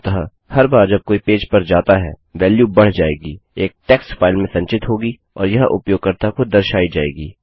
अतः हर बार जब कोई पेज पर जाता हैवेल्यू बढ़ जाएगी एक टेक्स्ट फाइल में संचित होगी और यह उपयोगकर्ता को दर्शायी जाएगी